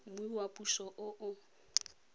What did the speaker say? mmu wa puso o o